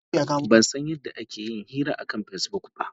A'a, ban san yadda ake yin hira akan Facebook ba.